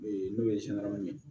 Ee n'o ye ye